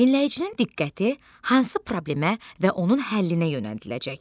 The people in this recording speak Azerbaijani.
Dinləyicinin diqqəti hansı problemə və onun həllinə yönəldiləcək?